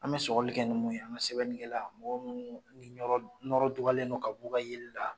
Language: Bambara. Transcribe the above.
An bɛ sɔgɔli kɛ ni mun ye ani sɛbɛnnikɛlan mɔgɔ minnu ni nɔrɔ dugalen don ka b'u ka yeliw la.